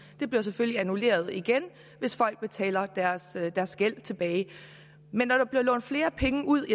det bliver selvfølgelig annulleret igen hvis folk betaler deres gæld tilbage men når der bliver lånt flere penge ud og